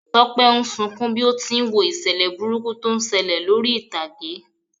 Tọ́pẹ́ ń sunkún bí ó ti n wo ìṣẹ̀lẹ̀ burúkú tó ń ṣẹlẹ̀ lórí ìtàgé.